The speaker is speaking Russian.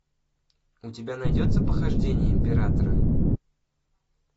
у тебя найдется похождения императора